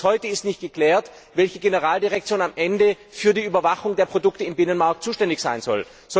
Nur ist bis heute nicht geklärt, welche Generaldirektion am Ende für die Überwachung der Produkte im Binnenmarkt zuständig sein soll.